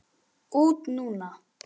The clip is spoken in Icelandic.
Út núna?